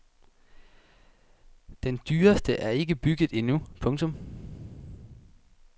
Den dyreste er ikke bygget endnu. punktum